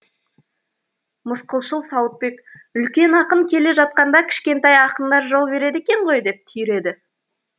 мысқылшыл сауытбек үлкен ақын келе жатқанда кішкентай ақындар жол береді екен ғой деп түйреді